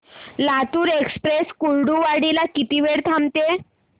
Latur express Kurduwadi ला किती वेळ थांबते